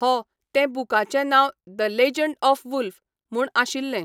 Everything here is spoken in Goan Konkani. हो तें बुकाचें नांव 'द लॅजंड ऑफ वुल्फ ', म्हूण आशिल्लें.